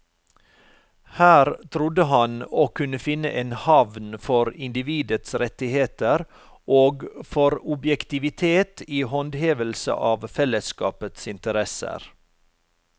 Her trodde han å kunne finne en havn for individets rettigheter og for objektivitet i håndhevelse av fellesskapets interesser.